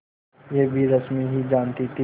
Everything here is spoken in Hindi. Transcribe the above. यह भी रश्मि ही जानती थी